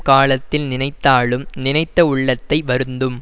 காலத்தில் நினைத்தாலும் நினைத்த உள்ளத்தை வருந்தும்